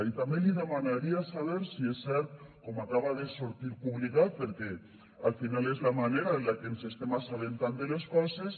i també li demanaria saber si és cert com acaba de sortir publicat perquè al final és la manera en què ens estem assabentant de les coses